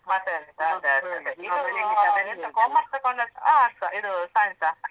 ಮತ್ತೆಂತಾ ಅದೆ ಅದೆ ಇದೂ ಎಂತ commerce ತೊಗೊಂಡದ್ದಾ ಇದು science ಆ?